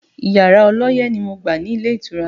Yàrá ọlọ́yẹ́ ni mo gbà ní ilé ìtura